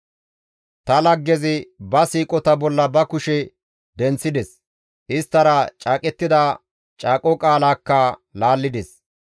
Ta laggezi ba siiqota bolla ba kushe denththides; isttara caaqettida caaqo qaalaakka laallides.